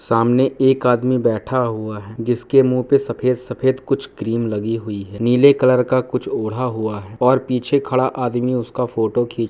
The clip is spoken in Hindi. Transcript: सामने एक आदमी बैठा हुआ है जिसके मुंह पे सफेद-सफेद कुछ कुछ क्रीम लगी हुई है नीले कलर का कुछ ओढ़ा हुआ है और पीछे खड़ा आदमी उसका फोटो खीं --